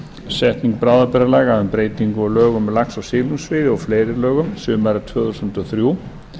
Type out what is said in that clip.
setning bráðabirgðalaga um breytingu á lögum um lax og silungsveiði og fleiri lögum sumarið tvö þúsund og þrjú